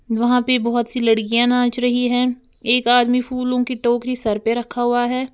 वहां पे बहुत सी लड़कियां नाच रही हैं एक आदमी फूलों की टोकरी सर पे रखा हुआ हैं।